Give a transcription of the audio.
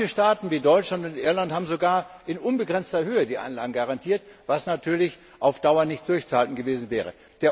Manche Staaten, wie Deutschland und Irland, haben sogar in unbegrenzter Höhe die Einlagen garantiert, was natürlich auf Dauer nicht durchzuhalten gewesen wäre.